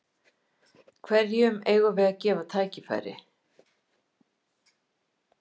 Hverjum eigum við að gefa tækifæri?